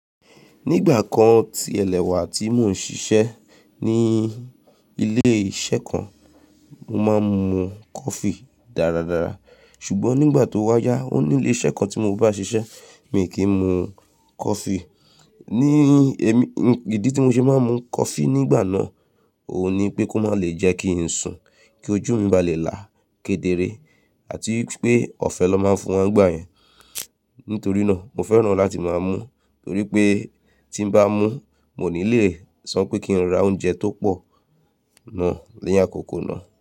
Ní ìgbà kan tí ẹ lẹwà tí mò ń ṣiṣẹ́ ní ilé iṣẹ́ kan, mo máa ń mu coffee dáradára. Ṣùgbọ́n nígbà tó wá yá, ó ní ilé iṣẹ́ kan tí mo bá ṣiṣẹ́, mi ò kì ń mu coffee. Ní ìdí tí mo ṣe máa ń mu coffee nígbà náà, òun ni pé kó máa le jẹ́ kí n sùn, kí ojú mi bá lè là kedere àti pé ọ̀fẹ́ ni wọ́n má ń fún wọn nígbà yẹn. Nítorí náà, mo fẹ́ràn láti máa mú, torí pé tí n bá mú, mi ò ní lè sọ pé kí n ra oúnjẹ tó pọ̀ náà ni àkókò náà.